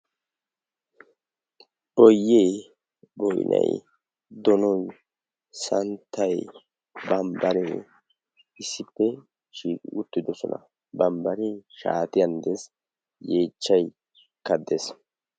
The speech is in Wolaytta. Boyee boinai donoi santtai bambbaree issippe shiii uttidosona bambbaree shaatiyan ddees yeechchai kaddees.